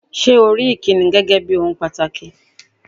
Ṣé́ o rí ìkíni gẹ́gé ohun pàtàkì?